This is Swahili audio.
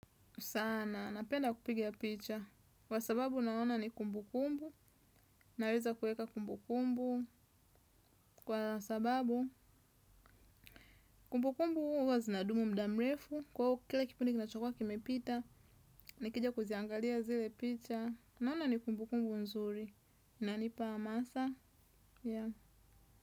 Sana, napenda kupigia picha. Kwa sababu naona ni kumbu kumbu. Naweza kueka kumbu kumbu. Kwa sababu, kumbu kumbu huwa zinadumu mda mrefu. Kwa huu, kila kipundi kinachokwa kimepita. Nikija kuziangalia zile picha. Naona ni kumbu kumbu nzuri. Nanipa hamasa. Ya.